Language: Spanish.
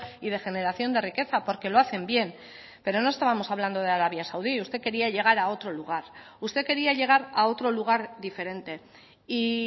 y de generación de riqueza porque lo hacen bien pero no estábamos hablando de arabia saudí usted quería llegar a otro lugar usted quería llegar a otro lugar diferente y